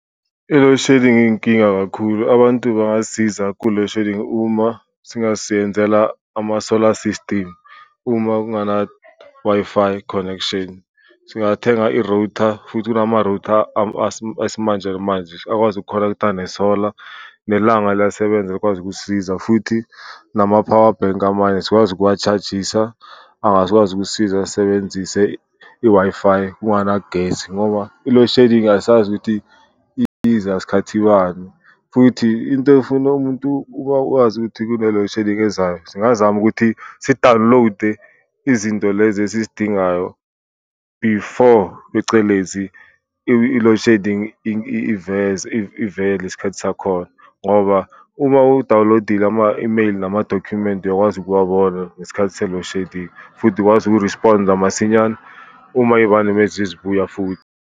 I-loadshedding iyinkinga kakhulu abantu bangazisiza ku-loadshedding uma singaziyenzela ama-solar system, uma kungana Wi-Fi connection singathenga i-router futhi kunama-router esimanje manje akwazi uku-connecter nesola nelanga liyasebenza likwazi ukusisiza. Futhi nama-power bank amanye sikwazi ukuwa-charge-isa ukusisiza sisebenzise i-Wi-Fi kunganagesi, ngoba i-loadshedding asazi ukuthi iza sikhathi bani uthi into efuna umuntu akwazi kune-loadshedding ezayo singazama ukuthi si-download-e izinto lezi esizidingayo before. Phecelezi I-loadshedding ivele isikhathi sakhona ngoba uma u-download-ile ama-imeyini namadokhumenti uyakwazi ukuwabona ngesikhathi se-loadshedding, futhi uyakwazi uku-responder amasinyane uma iyibani mezezibuya futhi.